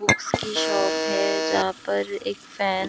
books की shop है जहाँ पर एक फॅन --